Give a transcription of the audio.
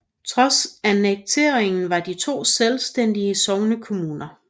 Trods annekteringen var de to selvstændige sognekommuner